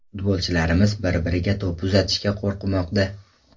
Futbolchilarimiz bir-birlariga to‘p uzatishga qo‘rqmoqda.